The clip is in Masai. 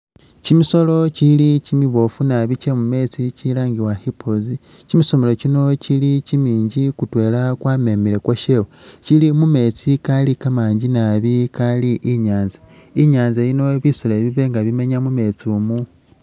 Kyimisolo kyili kyimiboofu nabi kye mumetsi kyilangiwa hippos kyimisolo kyino kyili kimingi kutwela kwa memele ukwashewe kyili mu metsi kali kamangi nabi Kali inyanza, inyanza yino bisolo ebi biba nga bimenya mu metsi imu.